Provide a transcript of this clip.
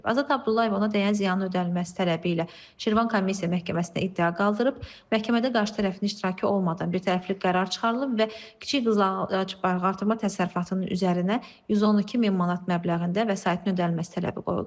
Azad Abdullayev ona dəyən ziyanın ödənilməsi tələbi ilə Şirvan Komissiya məhkəməsinə iddia qaldırıb, məhkəmədə qarşı tərəfin iştirakı olmadan birtərəfli qərar çıxarılıb və kiçik qızıl ağac balıqartırma təsərrüfatının üzərinə 112000 manat məbləğində vəsaitin ödənilməsi tələbi qoyulub.